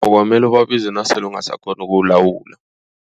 Kwamele ubabize nasele ungasakghoni ukuwulawula.